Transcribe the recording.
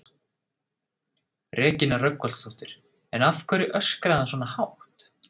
Regína Rögnvaldsdóttir: En af hverju öskraði hann svona hátt?